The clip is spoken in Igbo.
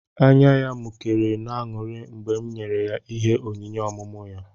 Ányá ya mụkéré n'aṅụrị mgbe m nyèrè ya ịhé onyinye ọmụmụ ya